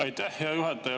Aitäh, hea juhataja!